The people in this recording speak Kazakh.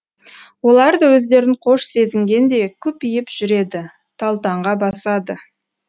олар да өздерін қош сезінгендей күпиіп жүреді талтаңға басады